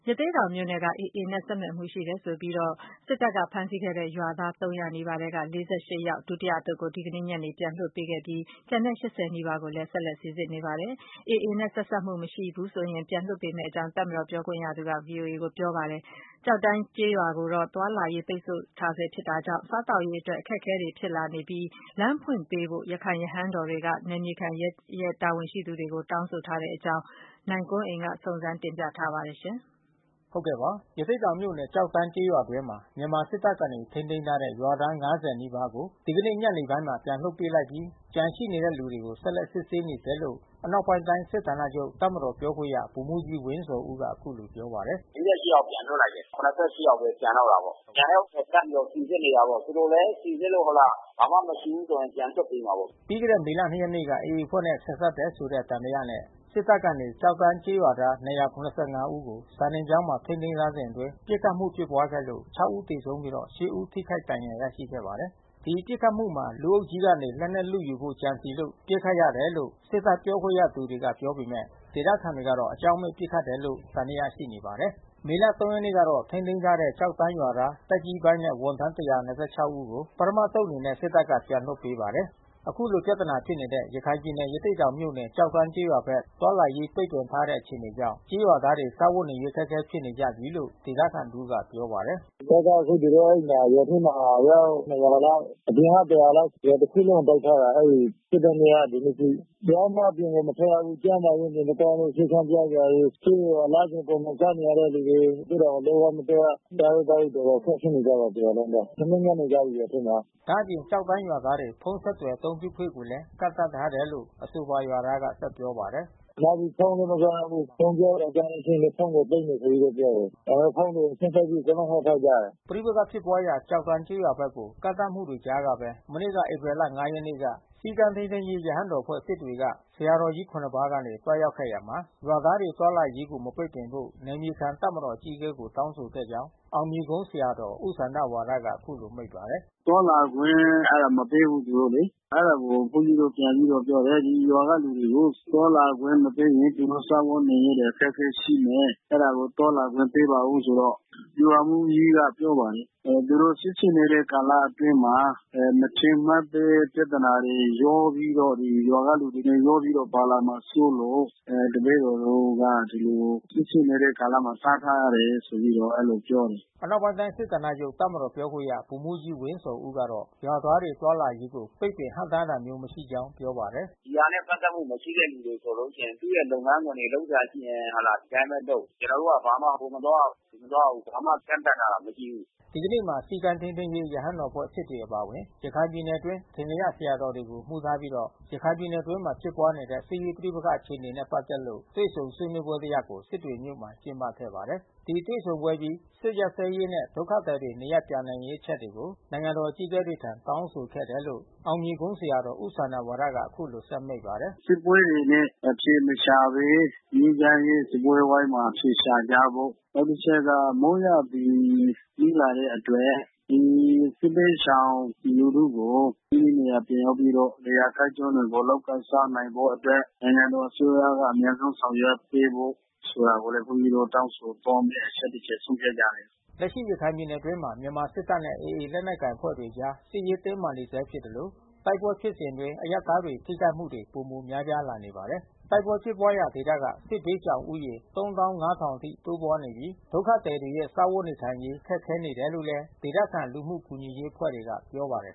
ရသေ့တောင်မြို့နယ်က AAနဲ့ ပတ်သက်နေတယ်ဆိုပြီး မြန်မာစစ်တပ်က ဖမ်းဆီးခဲ့တဲ့ ရွာသား ၃၀၀ နီးပါးထဲက ၄၈ ဦးပါတဲ့ ဒုတိယအသုတ်ကို ဒီကနေ့ညနေက ပြန်လွှတ်ပေးခဲ့ပါတယ်။ ပြီးခဲ့တဲ့ သောကြာနေ့တုန်းက ၁၂၆ ဦးပါတဲ့ ပထမအသုတ်ကို လွှတ်ပေးခဲ့တာပါ။ ကျန်တဲ့ အယောက် ၈၀ နီးပါးကိုလည်း စိစစ်နေပြီး AA နဲ့ ဆက်စပ်မှုမရှိရင် ပြန်လွှတ်မယ်လို့ မြန်မာစစ်တပ် ပြောခွင့်ရသူက ပြောပါတယ်။ ကျောက်တန်းကျေးရွာကိုတော့ လက်ရှိအချိန်အထိ သွားလာရေးပိတ်ဆို့ထားတာကြောင့် ဒေသခံတွေရဲ့စားဝတ်နေရေးအတွက် လမ်းဖွင့်ပေးဖို့ အထင်ကရ ရခိုင်ရဟန်းတော်တွေက နယ်မြေခံတပ်မတော်တာဝန်ရှိသူတွေကို အရေးဆိုနေပါတယ်။ ကိုနိုင်ကွန်းအိမ် စုံစမ်းမေးမြန်းပြီး သတင်းပေးပို့ထားပါတယ်။ ရသေ့တောင်မြို့နယ် ကျောက်တန်းကျေးရွာအတွင်းမှာ မြန်မာစစ်တပ်ကနေထိန်းသိမ်းထားတဲ့ရွာသား ၅၀ နီးပါးကို ဒီက နေ့ညနေပိုင်းမှာ ပြန်လည်လွှတ်ပေးလိုက်ပြီးကျန်ရှိနေတဲ့သူတွေကို ဆက်လက်စစ်ဆေးနေဆဲလို့ အနောက်ပိုင်းတိုင်း စစ်ဌာနချုပ် တပ်မတော်ပြောခွင့်ရ ဗိုလ်မှူးကြီး ဝင်းဇော်ဦးက အခုလိုပြောပါတယ်။ ယောက်ပြန်လွှတ်လိုက်တယ်။ ယောက်ဘဲ ကျန်တော့တာပေါ့။ ကျန်တဲ့ဥစ္စာ တပ်မတော်စိစစ်နေတာပေါ့။ သူတို့လဲ စိစစ်လို့ ဟုတ်လား ဘာမှမရှိဘူးဆိုရင် ပြန်လွှတ်ပေးမှာပေါ့။” ပြီးခဲ့တဲ့ မေလ ရက်နေ့က AA အဖွဲ့နဲ့ဆက်စပ်တယ်ဆိုတဲ့ သံသယနဲ့ စစ်တပ်က ကျောက်တန်းကျေးရွာသား ဦး ကို စာသင်ကျောင်းမှာ ထိန်းသိမ်းထားစဉ်အတွင်း ပစ်ခတ်မှု ဖြစ်ပွားခဲ့လို့ ဦး သေဆုံးပြီးတော့ ဦး ထိခိုက်ဒဏ်ရာရရှိခဲ့ပါတယ်။ ဒီပစ်ခတ်မှု မှာ လူအုပ်ကြီးကနေ လက်နက်လုယူဖို့ ကြံစည်လို့ပစ်ခတ်ရတာလို့ စစ်တပ် ပြောခွင့်ရသူတွေ ကပြောပေမယ့် ဒေသတွေကတော့ အကြောင်းမဲ့ပစ်ခတ်တယ်လို့ပဲ သံသယရှိနေပါတယ်။ မေလ ရက်နေ့ကတော့ ထိန်းသိမ်းထားတဲ့ ကျောက်တန်းရွာသားသက်ကြီးပိုင်းနဲ့ ဝန်ထမ်း ဦးကို ပထမအသုတ်အနေနဲ့ စစ်တပ်က ပြန်လွှတ်ပေးပါတယ်။ အခုလို ပြဿနာဖြစ်နေတဲ့ ရခိုင်ပြည်နယ် ရသေ့တောင်မြို့နယ် ကျောက်တန်းကျေးရွာဘက် သွားလာရေးပိတ်ပင်ထားတဲ့ အခြေအနေကြောင့် ကျေးရွာသားတွေစားဝတ်နေရေး အခက်ခဲဖြစ်နေကြပြီလို့ ရွာသားတဦးက ပြောပါတယ်။ “စစ်တပ်က အခုအဲဒီမှာ ရွာထဲမှာအယောက် လောက် အပြင်က လောက် ရွာတခုလုံးကို ပိတ်ထားတာ။ အဲ တာဖြစ်တဲ့နေ့က ဒီနေ့အထိ။ တယောက်မှ အပြင်ကိုမထွက်ရဘူး။ ကျန်းမာရေး နေမကောင်းလို့ ဆေးခန်းပြစရာတွေ ဆေးတွေ လစဉ် ပုံမှန်စားနေရတဲ့လူတွေ ရသေ့တောင်ကို လုံးဝမသွားရ။ စားရေးသောက်ရေး အတော်ခက်ခဲနေကြတယ် တရွာလုံးပဲ။ ထမင်းငတ် နေကြပြီ ရွာထဲမှာ။ ” ဒါ့အပြင် ကျောက်တန်းရွာသားတွေ ဖုန်းဆက်သွယ် အသုံးပြုခွင့်ကိုလည်း ကန့်သတ်ထားတယ်လို့ အဆိုပါရွာသား က ဆက်ပြောပါတယ်။ “ နောက်ပြီးဖုန်းလဲမသုံးရဘူး။ ဖုန်းပြောသံကြားရင်ဖုန်းကို သိမ်းမယ်ဆိုပြီးတော့ပြောတယ်။ ဒါကြောင့် ဖုန်းတွေပိတ်ပြီး အကုန်လုံး ဝှက်ထားကြတယ်။” ပဋိပက္ခဖြစ်ပွားရာ ကျောက်တန်းကျေးရွာဘက်ကို ကန့်သတ်မှုတွေကြားကဘဲ မနေ့ဧပြီလ ရက် နေ့က စည်းကမ်း ထိန်းသိမ်းရေး ရဟန်းတော်အဖွဲ့ က ဆရာတော်ကြီး ၇ ပါးကနေ သွားရောက်ခဲ့ရာမှာ ရွာသားတွေသွားလာ ရေးကို မပိတ်ပင်ဖို့ နယ်မြေခံတပ်မတော် အကြီးအကဲကို တောင်းဆိုခဲ့ကြာင်း အောင်မြေကုန်းဆရာတော ်ဦးစန္ဒဝါရက အခုလိုမိန့်ပါတယ်။ “သွားလာခွင့် မပေးဘူးသူတို့လေ။ အဲတာကို ဘုန်းကြီးတို့ပြန်ပြီးတော့ပြောတယ်။ ဒီရွာကလူတွေကို သွားလာခွင့်မပေးရင် သူတို့ စားဝတ်နေရေးတွေအခက်ခဲရှိမယ်။ အဲတာကိုသွားလာခွင့်ပေးပါဦးဆိုတော့ ဗျူဟာမှူးကြီးက ပြောပါတယ်။ သူတို့ စစ်ဆေးနေတဲ့ကာလအတွင်းမှာ မထင်မှတ်ဘဲ ပြဿနာတွေရောပြီးတော့ ရွာကလူတွေနဲ့ရောပြီးတော့ ပါလာမှာစိုးလို့ တပည့်တော်တို့က ဒီလို စစ်ဖြစ်နေတဲ့ ကာလမှာ တားထားရတယ်။ ဆိုပြီးတော့အဲဒီလိုပြောတယ်။” အနောက်ပိုင်းတိုင်းစစ်ဌာနချုပ် တပ်မတော်ပြောခွင့်ရ ဗိုလ်မှူးကြီး ဝင်းဇော်ဦးကတော့ ရွာသားတွေသွားလာရေးကို ပိတ်ပင်ဟန့်တားတာမျိုးမရှိကြောင်းပြောပါတယ်။ “ဒီဟာနဲ့ ပက်သက်မှု မရှိတဲ့လူဆိုလို့ရှိရင် သူ့ရဲ့လုပ်ငန်းခွင်တွေ လုပ်စရာဆိုလို့ရှိရင် ဟုတ်လား ဒီအတိုင်းပဲလုပ်။ ကျွန် တော်တို့က ဘာမှဟိုမသွားရ ဒီမသွားရ ဘာမှကန့်သတ်ထားတာ မရှိဘူး။” ဒီကနေ့မှာ စည်းကမ်းထိန်းသိမ်းရေး ရဟန်းတော်အဖွဲ့ အပါအဝင် ရခိုင်ပြည်နယ်အတွင်း အထင်ကရဆရာ တော်ကြီးတွေကိုအမှူးထားပြီး ရခိုင်ပြည်နယ်အတွင်းဖြစ်ပွါးနေတဲ့ စစ်ရေးပဋိပက္ခအခြေအနေတွေနဲ့ပက်သက်လို့ တွေ့ဆုံဆွေးနွေးပွဲတရပ်ကို စစ်တွေမြို့မှာကျင်းပခဲ့ပါတယ်။ ဒီတွေ့ဆုံပွဲအပြီး စစ်ရပ်စဲရေးနဲ့ ဒုက္ခသည်တွေနေရပ်ပြန်ရေးအချက်တွေကို နိုင်ငံတော်အကြီးကဲတွေထံ တောင်းဆိုခဲ့တယ်လို့ အောင်မြေကုန်း ဆရာတော် ဦးစန္ဒဝါရက အခုလို ဆက်မိန့်ပါတယ်။ “စစ်ပွဲတွေနဲ့ အဖြေမရှာဘဲ ငြိမ်းချမ်းရေးစားပွဲဝိုင်းမှာ အဖြေရှာကြဖို့။ နောက်တချက်က မိုးရာသီ နီးလာတဲ့အတွက် ဒီစစ်ဘေးရှောင်လူထုကို မိမိနေရာ ပြန်ရောက်ပြီးတော့ လယ်ယာကိုင်းကျွန်းတွေကို လုပ်ကိုင်စားနိုင်ဖို့အတွက် နိုင်ငံတော် အစိုးရက အမြန်ဆုံးဆောင်ရွက်ပေးဖို့ ဆိုတာကိုလဲ ဘုန်းကြီးတို့ တောင်းဆိုသွားမယ့် အချက်တချက်ဆုံးဖြတ်ကြတယ်။” လက်ရှိရခိုင်ပြည်နယ်အတွင်းမှာ မြန်မာစစ်တပ်နဲ့ AA လက်နက်ကိုင်အဖွဲ့တို့အကြား စစ်ရေးတင်းမာ နေဆဲဖြစ်သလို တိုက်ပွဲဖြစ်စဉ်အတွင်း အရပ်သားတွေ ထိခိုက်မှုတွေ ပိုမိုများပြားလာနေပါတယ်။ တိုက်ပွဲဖြစ်ပွားရာဒေသက စစ်ဘေးရှောင်ဦးရေ အထိ တိုးပွါးနေပြီး၊ ဒုက္ခသည်တွေရဲ့ စားဝတ်နေထိုင်ရေး ခက်ခဲနေတယ်လို့ ဒေသခံ လူမှုကူညီရေးအဖွဲ့တွေက ပြောပါတယ်